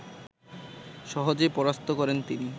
সহজেই পরাস্ত করেন তিনি